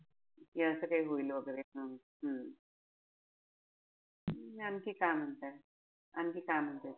कि असं काई होईल वगैरे. हम्म आणखी काय म्हणते? आणखी काय म्हणते?